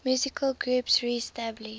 musical groups reestablished